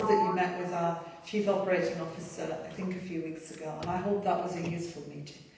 I know that you met with our chief operating officer a few weeks ago, and I hope that was a useful meeting.